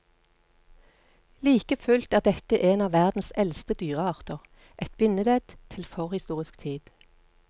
Like fullt er dette en av verdens eldste dyrearter, et bindeledd til forhistorisk tid.